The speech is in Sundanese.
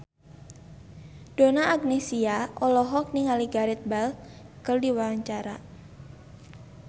Donna Agnesia olohok ningali Gareth Bale keur diwawancara